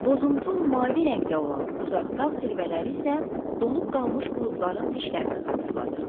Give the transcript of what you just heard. Bozumtul-mavi rəngdə olan uzaq dağ zirvələri isə donub qalmış buludların dişlərini xatırladırdı.